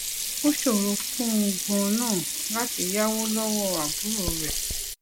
ó ṣòro fún un ganan láti yáwó lówó àbúrò rè